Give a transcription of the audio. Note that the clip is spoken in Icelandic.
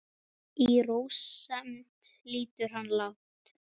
Í rósemd lýtur hann lágt.